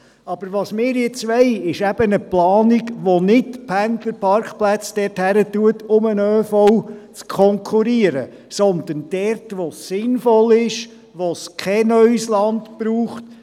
Was wir aber jetzt wollen, ist eben eine Planung, die nicht Pendlerparkplätze dort erstellt, wo sie den ÖV konkurrenzieren, sondern dort, wo es sinnvoll ist, wo es kein neues Land braucht.